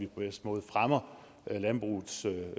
bedste måde fremmer landbrugets